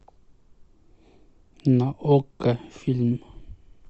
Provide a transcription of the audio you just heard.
на окко фильм